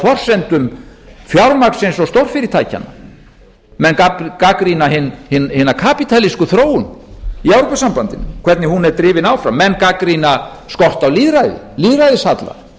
forsendum fjármagnsins og stórfyrirtækjanna menn gagnrýna hina kapítalísku þróun í evrópusambandinu hvernig hún er drifin áfram menn gagnrýna skort á lýðræði lýðræðishalla